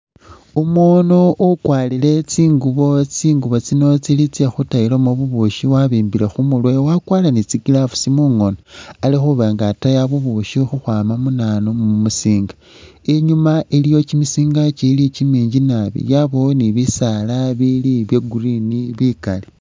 Umundu ukwarire tsinguubo, tsinguubo tsino tsekhutayilamo bubushi wabimbile khumurwe wakwarire ne tsi’gloves mungono ali khuba nga ataya bubushi khukhwama munanu mumusinga , inyuma iliyo kimisiinga kikiili kiminji naabi, yabaawo ne bisaala bibiili bya green bikaali.